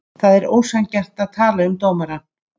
Það er ósanngjarnt að tala um dómarann.